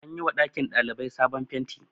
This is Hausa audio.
an yi wa ɗakin ɗalibai sabon fenti